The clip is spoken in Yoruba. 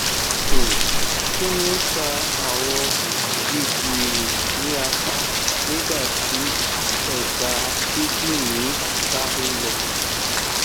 um kini o fa awọn gígìrì ni apa nigba ti ẹdá kídìní ba nlọ